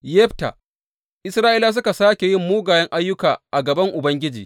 Yefta Isra’ilawa suka sāke yin mugayen ayyuka a gaban Ubangiji.